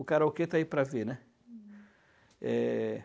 O karaokê está aí para ver, né? Eh...